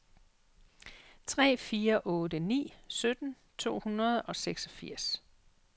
tre fire otte ni sytten to hundrede og seksogfirs